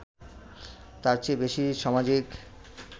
তার চেয়ে বেশি সামাজিক